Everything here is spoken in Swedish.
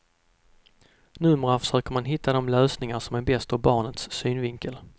Numera försöker man hitta de lösningar som är bäst ur barnets synvinkel.